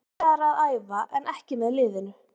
Hann er byrjaður að æfa en ekki með liðinu.